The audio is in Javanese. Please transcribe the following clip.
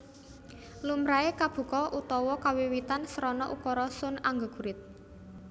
Lumrahe kabuka utawa kawiwitan srana ukara Sun anggegurit